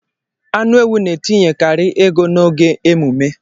Anu ewu n'etinyekari ego n'oge emume